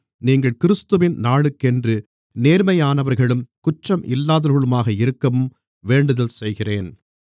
நீங்கள் கிறிஸ்துவின் நாளுக்கென்று நேர்மையானவர்களும் குற்றம் இல்லாதவர்களுமாக இருக்கவும் வேண்டுதல் செய்கிறேன்